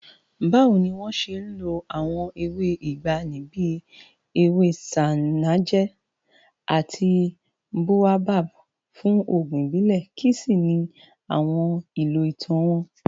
Báwo ni wọ́n ṣe ń lo àwọn ewé ìgbàanì bí ewé ṣánájẹ́ àti boabab fún oògùn ìbílẹ̀, kí sì ni àwọn ìlò ìtàn wọn?